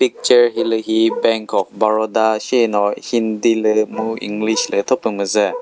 picture hilühi bank of baroda shino hindi lü mu english lü thopü müzüh.